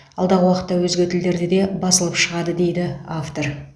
алдағы уақытта өзге тілдерде де басылып шығады дейді автор